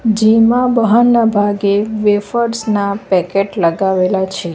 જેમાં બહારના ભાગે વેફર્સ ના પેકેટ લગાવેલા છે.